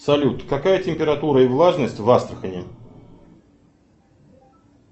салют какая температура и влажность в астрахани